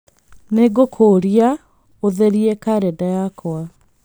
Nĩ ngũkũũria ũtherie kalendarĩ yakwa.